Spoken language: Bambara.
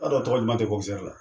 Ba dɔn tɔgɔ duman tɛ la.